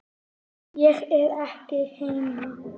Ég er ekki heima